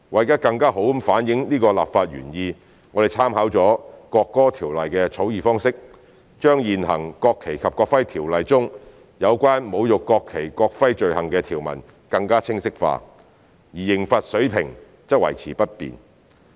為更好反映此立法原意，我們參考了《國歌條例》的草擬方式，將現行《條例》中有關侮辱國旗國徽罪行的條文更清晰化，而刑罰水平則維持不變。